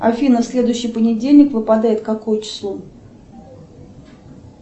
афина следующий понедельник выпадает какое число